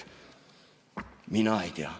Mina ei tea.